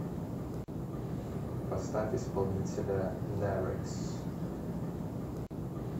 поставь исполнителя нерекс